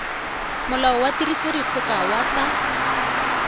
molao wa tirisodikgoka wa tsa